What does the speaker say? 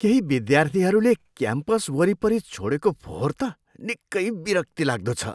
केही विद्यार्थीहरूले क्याम्पस वरिपरि छोडेको फोहोर त निकै विरक्तिलाग्दो छ।